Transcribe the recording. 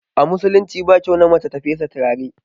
A musulunci ba kyau na mace ta fesa turare